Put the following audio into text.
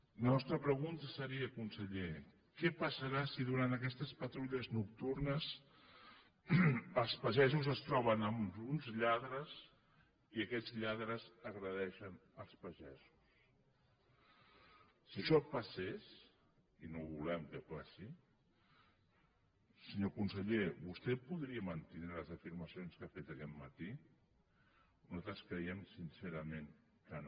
la nostra pregunta seria conseller què passarà si durant aquestes patrulles nocturnes els pagesos es troben amb uns lladres i aquests lladres agredeixen els pagesos si això passés i no volem que passi senyor conseller vostè podria mantindre les afirmacions que ha fet aquest matí nosaltres creiem sincerament que no